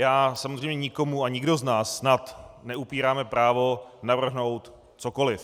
Já samozřejmě nikomu a nikdo z nás snad neupíráme právo navrhnout cokoliv.